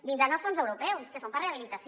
vindran els fons europeus que són per a rehabilitació